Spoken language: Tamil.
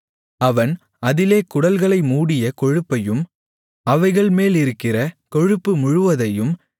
அவன் அதிலே குடல்களை மூடிய கொழுப்பையும் அவைகள் மேலிருக்கிற கொழுப்பு முழுவதையும்